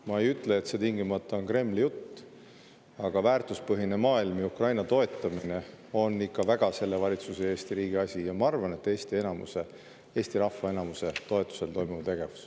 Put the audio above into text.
Ma ei ütle, et see on tingimata Kremli jutt, aga väärtuspõhine maailm ja Ukraina toetamine on ikka väga selle valitsuse ja Eesti riigi asi ning ma arvan, et Eesti rahva enamuse toetusel toimuv tegevus.